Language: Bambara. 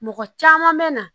Mɔgɔ caman bɛ na